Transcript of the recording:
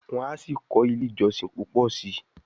Wan sí kò ilé ìjósìn púpọ sí.